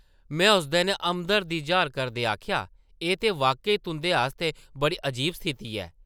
मैं उसदे नै हमदर्दी जाह्र करदे आखेआ, एह् ते वाक्या-ई तुंʼदे आस्तै बड़ी अजीब स्थिति ऐ ।